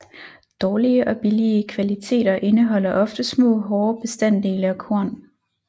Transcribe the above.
Dårlige og billige kvaliteter indeholder ofte små hårde bestanddele og korn